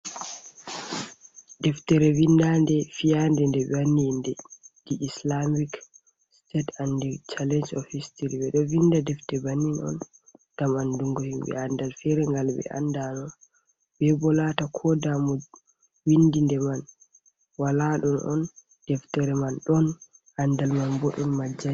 Deftere vindande fiyande de bewanni di inde di islamic state ande challeng ofhc tat be do vinda deftere bannin on gam andungo himbe andal ferengal be andano be bo lata ko damu windinde man waladon on deftere man don andal man boden majjati.